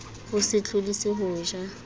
o se tlodise ho ja